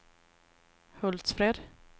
Hultsfred